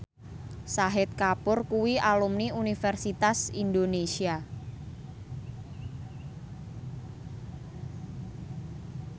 Shahid Kapoor kuwi alumni Universitas Indonesia